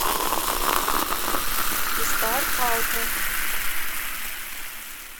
рестарт ауто